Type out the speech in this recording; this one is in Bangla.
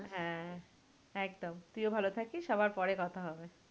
হ্যাঁ, একদম। তুইও ভালো থাকিস, আবার পরে কথা হবে।